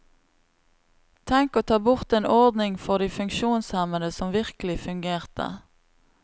Tenk å ta bort en ordning for de funksjonshemmede som virkelig fungerte.